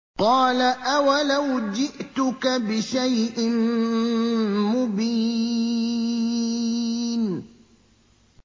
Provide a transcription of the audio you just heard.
قَالَ أَوَلَوْ جِئْتُكَ بِشَيْءٍ مُّبِينٍ